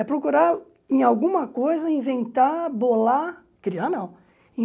É procurar em alguma coisa, inventar, bolar... Criar, não.